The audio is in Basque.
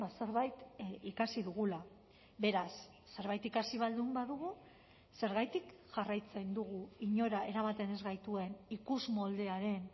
zerbait ikasi dugula beraz zerbait ikasi baldin badugu zergatik jarraitzen dugu inora eramaten ez gaituen ikusmoldearen